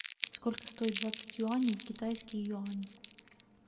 сколько стоит двадцать юаней в китайские юани